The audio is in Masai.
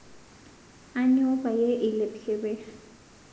Aanyo payie ilep keper?